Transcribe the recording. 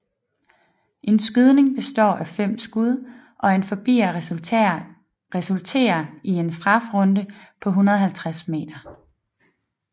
En skydning består af fem skud og en forbier resulterer i en strafrunde på 150 m